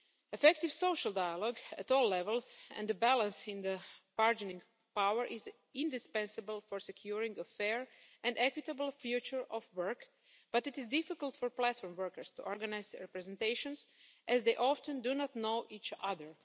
Effective social dialogue at all levels and a balance in the bargaining power is indispensable for securing a fair and equitable future of work, but it is difficult for platform workers to organise their presentations, as they often do not know each other.